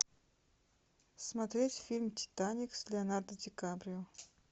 смотреть фильм титаник с леонардо ди каприо